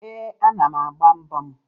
Ee, ana m agba mbọ m